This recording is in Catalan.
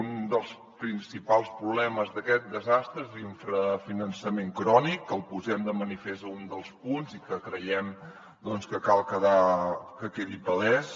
un dels principals problemes d’aquest desastre és l’infrafinançament crònic el posem de manifest a un dels punts i creiem que cal que quedi palès